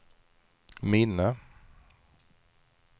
minne